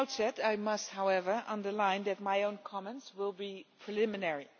From the outset I must however underline that my own comments will be preliminary.